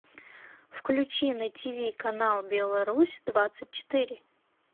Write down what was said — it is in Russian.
включи на тиви канал беларусь двадцать четыре